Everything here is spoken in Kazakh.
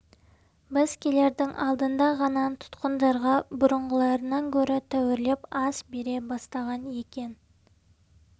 біз келердің алдында ғана тұтқындарға бұрынғыларынан гөрі тәуірлеп ас бере бастаған екен